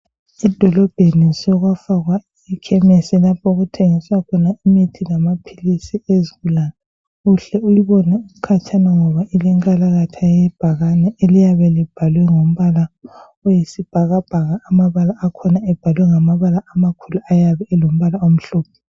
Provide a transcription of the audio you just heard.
Edolobheni sokwafakwa ikhemesi lapho okuthengiswa khona imithi lamaphilisi ezigulane .Uhle uyibone ukhatshana ngoba ilenkalakatha yebhakane eliyabe libhalwe ngombala oyisibhakabhaka amabala akhona ebhalwe ngamabala amakhulu ayabe elombala omhlophe .